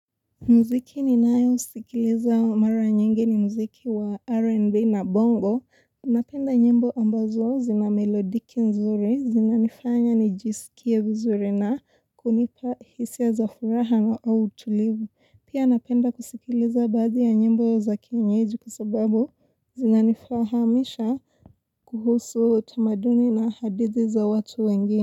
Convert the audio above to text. Mziki ni nayo usikileza mara nyingi ni mziki wa R&B na bongo. Unapenda nyimbo ambazo zina melodiki nzuri, zinanifanya nijisikia vizuri na kunipa hisia za furaha na au utulivu. Pia napenda kusikileza bazi ya nyimbo za kienyeji kusababu zinanifahamisha kuhusu utamaduni na hadithi za watu wengine.